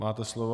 Máte slovo.